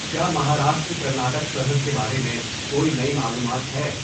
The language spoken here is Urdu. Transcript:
کیا مہاراشٹر کرناٹک سرحد کے بارے میں کوئی نئی معلومات ہے